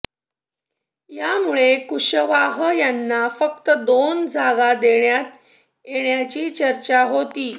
यामुळे कुशवाह यांना फक्त दोन जागा देण्यात येण्याची चर्चा होती